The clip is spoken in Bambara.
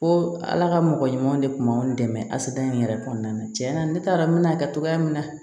Ko ala ka mɔgɔ ɲuman de tun b'anw dɛmɛ a yɛrɛ kɔnɔna na tiɲɛ na ne t'a dɔn n bɛ n'a kɛ cogoya min na